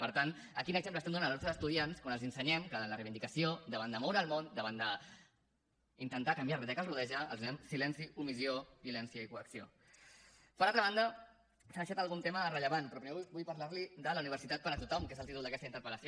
per tant quin exemple donem als nostres estudiants quan els ensenyem que en la reivindicació davant de moure el món davant d’intentar canviar la realitat que els rodeja els donem silenci omissió violència i coacció per altra banda s’ha deixat algun tema de rellevància però primer vull parlar li de la universitat per a tothom que és el títol d’aquesta interpel·lació